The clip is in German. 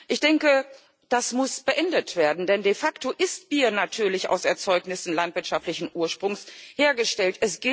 Ich denke, das muss beendet werden, denn de facto ist Bier natürlich aus Erzeugnissen landwirtschaftlichen Ursprungs hergestellt.